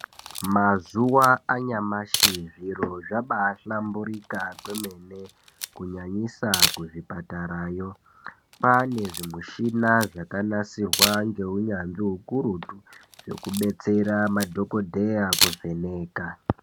Mazuwa anyamashi zviro zvabaa hlamburika kwemene kunyanyisa kuzvipatara yo kwane zvimushina zvakanasirwa ngeunyanzvi ukurutu zvekubetsera madhokodheya kuvheneka